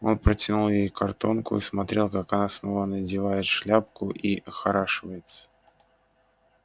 он протянул ей картонку и смотрел как она снова надевает шляпку и охорашивается